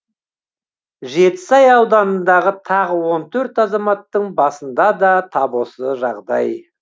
жетісай ауданындағы тағы он төрт азаматтың басында да тап осы жағдай